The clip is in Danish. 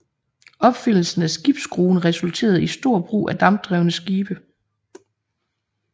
Opfindelsen af skibsskruen resulterede i stor brug af dampdrevne skibe